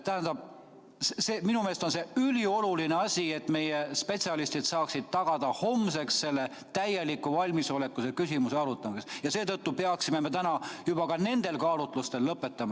Tähendab, minu meelest on ülioluline, et meie spetsialistid saaksid tagada homseks täieliku valmisoleku selle küsimuse arutamiseks ja seetõttu peaksime täna juba üksnes nendel kaalutlustel lõpetama.